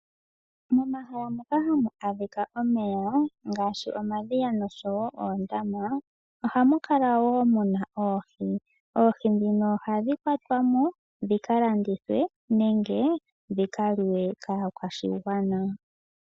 Momahala moka hamu adhika omeya ngaashi omadhiya nosho wo oondama, ohamu kala wo muna oohi. Oohi ndhino ohadhi kwatwamo dhika landithwe nenge dhika liwe kaakwashigwana.